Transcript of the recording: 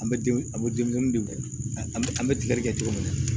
An bɛ a bɛ denmisɛnnin de kɛ an bɛ an bɛ tigɛli kɛ cogo min na